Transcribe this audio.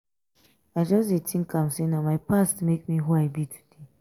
i just dey tink am sey na my past make me who i be today.